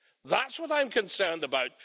That's what I'm concerned about.